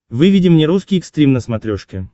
выведи мне русский экстрим на смотрешке